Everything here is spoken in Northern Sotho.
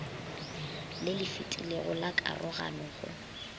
le lefetilego la karogano go